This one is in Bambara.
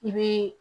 I bi